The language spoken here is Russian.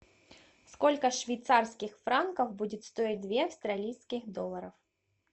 сколько швейцарских франков будет стоить две австралийских долларов